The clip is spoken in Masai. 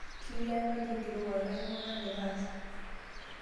Ketii enkaji enkirowuaj kanyoo nagira aasa?